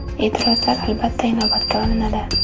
E’tirozlar albatta inobatga olinadi.